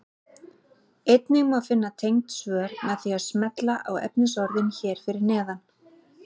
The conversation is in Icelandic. Einnig má finna tengd svör með því að smella á efnisorðin hér fyrir neðan.